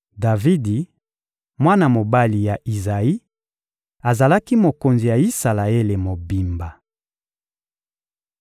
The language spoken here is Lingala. Davidi, mwana mobali ya Izayi, azalaki mokonzi ya Isalaele mobimba.